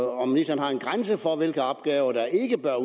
om ministeren har en grænse for hvilke opgaver der ikke bør